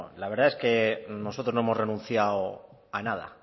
la verdad es que nosotros no hemos renunciado a nada